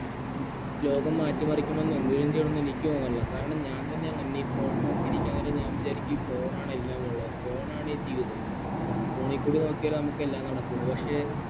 ലോകം മാറ്റിമറിക്കണം എന്തേലും ചെയ്യാനൊന്നും എനിക്ക് തോന്നണില്ല കാരണം ഞാൻ തന്നെയാണ് ഈ phone ണിൽ നോക്കിയിരിക്കന്നേരം ഞാൻ വിചാരിക്കും ഈ phone ലാണ് എല്ലാമുള്ളെന്നു phone ണാണ് ഈ ജീവിതം phone ക്കൂടെ നോക്കിയാല് നമുക്ക് എല്ലാം നടക്കുവോള് പക്ഷേ